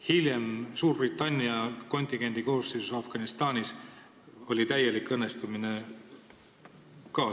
Hiljem, Suurbritannia kontingendi koosseisus Afganistanis sai saavutatud täielik õnnestumine.